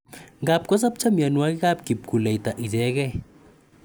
Ngap kosapcha mianwokikap kipkuleita ichegei